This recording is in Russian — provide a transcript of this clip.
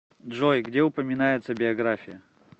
джой где упоминается биография